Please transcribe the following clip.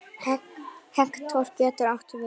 Hektor getur átt við